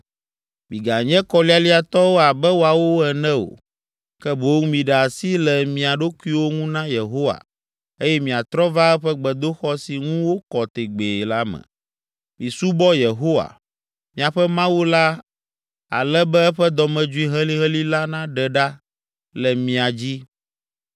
Miganye kɔlialiatɔwo abe woawo ene o, ke boŋ miɖe asi le mia ɖokuiwo ŋu na Yehowa eye miatrɔ va eƒe gbedoxɔ si ŋu wokɔ tegbee la me. Misubɔ Yehowa, miaƒe Mawu la ale be eƒe dɔmedzoe helihelĩ la naɖe ɖa le mia dzi.